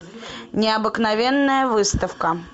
необыкновенная выставка